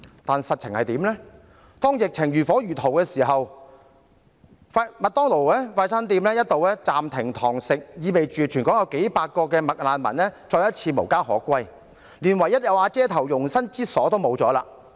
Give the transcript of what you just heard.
"但實情是，當疫情如火如荼之時，快餐店"麥當勞"一度暫停堂食業務，意味全港數百名"麥難民"再次無家可歸，連唯一有瓦遮頭的容身之處也失去。